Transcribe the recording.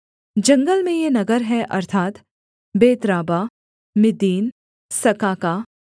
जंगल में ये नगर हैं अर्थात् बेतराबा मिद्दीन सकाका